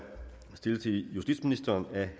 det